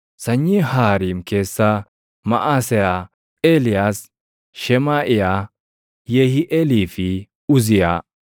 Sanyii Haariim keessaa: Maʼaseyaa, Eeliyaas, Shemaaʼiyaa, Yehiiʼeelii fi Uziyaa.